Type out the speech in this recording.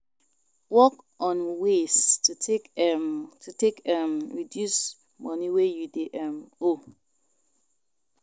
Work on ways to take um to take um reduce money wey you dey um owe